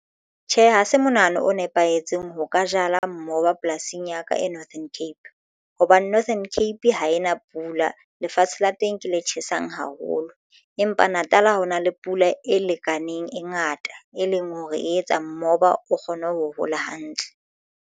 Tjhe, ha se monahano o nepahetseng ho ka jala moba polasing ya ka e Northern Cape, hobane Northern Cape ha e na pula lefatshe la teng ke le tjhesang haholo empa Natal ha o na le pula e lekaneng e ngata, e leng hore e etsa moba o kgone ho hola hantle.